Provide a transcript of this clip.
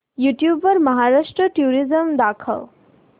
YouTube वर Maharashtra tourism दाखव